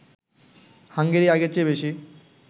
Hungary আগের চেয়ে বেশি